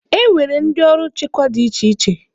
E nwere ndị ọrụ nchekwa dị iche iche.